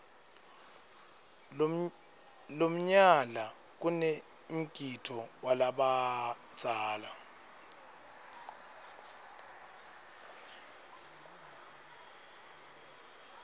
lomnyala kanemgidvo walabadzala